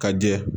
Ka jɛ